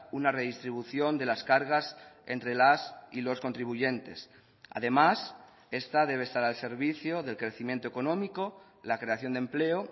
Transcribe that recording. una redistribución de las cargas entre las y los contribuyentes además esta debe estar al servicio del crecimiento económico la creación de empleo